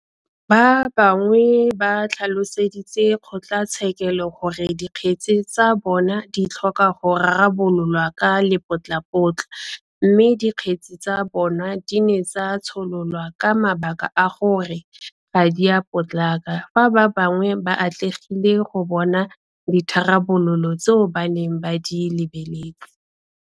Ba bangwe ba tlhaloseditse kgotlatshekelo gore dikgetse tsa bona di tlhoka go rarabololwa ka lepotlapotla mme dikgetse tsa bona di ne tsa tshololwa ka mabaka a gore ga di a potlaka fa ba bangwe ba atlegile go bona ditharabololo tseo ba neng ba di lebeletse.